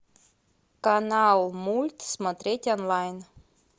канал мульт смотреть онлайн